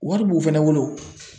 Wari b'u fɛnɛ bolo